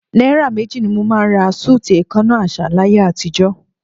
Náírà méjì ni mo máa ń ra súùtì èèkánná àṣà láyé àtijọ́.